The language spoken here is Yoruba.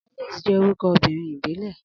Alice jẹ́ orúkọ obìnrin ìbílẹ̀.